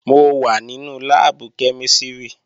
Mo wà nínú láàbù kẹ́mísìrì